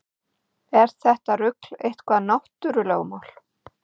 Er þetta rugl eitthvað náttúrulögmál?